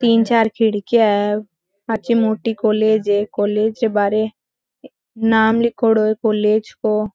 तीन चार खिड़किया है आछी मोटी कॉलेज है कॉलेज रे बहारे नाम लिखोड़ो है कॉलेज को।